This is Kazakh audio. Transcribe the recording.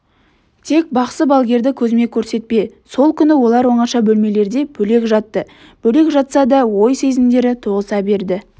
тек бақсы-балгерді көзіме көрсетпе сол күні олар оңаша бөлмелерде бөлек жатты бөлек жатса да ой сезімдері тоғыса берді